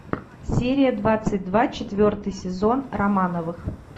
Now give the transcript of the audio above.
серия двадцать два четвертый сезон романовых